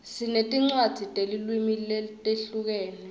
sinetincwadzi tetilwimi letihlukene